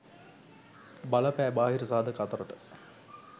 බලපෑ බාහිර සාධක අතරට